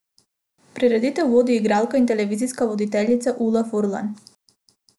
Prireditev vodi igralka in televizijska voditeljica Ula Furlan.